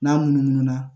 N'a munumunu na